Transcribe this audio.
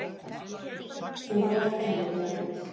Þú vorkennir honum.